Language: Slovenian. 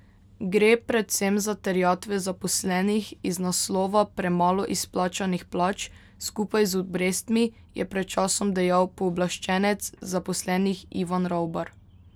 Gre predvsem za terjatve zaposlenih iz naslova premalo izplačanih plač, skupaj z obrestmi, je pred časom dejal pooblaščenec zaposlenih Ivan Ravbar.